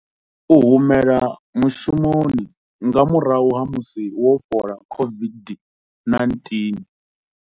U humela mushumoni nga murahu ha musi wo fhola COVID-19.